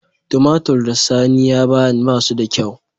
Tumatir da sani ya bani ba su da kyau.